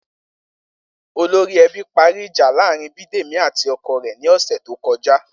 Olórí e̩bí parí ìjà láàárín Bídèmí àti o̩ko̩ rè̩ ní ò̩sè̩ tó ko̩já